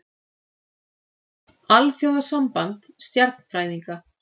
Alþjóðasamband stjarnfræðinga.